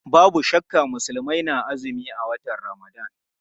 Babu shakka Musulmai na azumi a watan Ramadan.